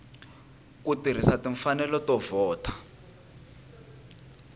ku tirhisa timfanelo to vhota